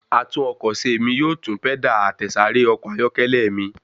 Atúnọkọ̀ṣe mí yóò tún pẹ́dà àtẹ̀sáré ọkọ̀ ayọ́kẹ́lẹ́ mi.